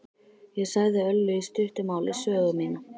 Ég sagði Öllu í stuttu máli sögu mína.